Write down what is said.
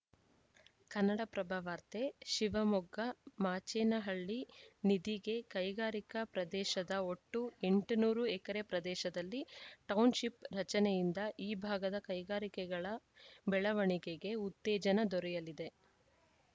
ಕನ್ನಡಪ್ರಭ ವಾರ್ತೆ ಶಿವಮೊಗ್ಗ ಮಾಚೇನಹಳ್ಳಿ ನಿಧಿಗೆ ಕೈಗಾರಿಕಾ ಪ್ರದೇಶದ ಒಟ್ಟು ಎಂಟುನೂರು ಎಕರೆ ಪ್ರದೇಶದಲ್ಲಿ ಟೌನ್‌ಶಿಪ್‌ ರಚನೆಯಿಂದ ಈ ಭಾಗದ ಕೈಗಾರಿಕೆಗಳ ಬೆಳವಣೆಗೆಗೆ ಉತ್ತೇಜನ ದೊರೆಯಲಿದೆ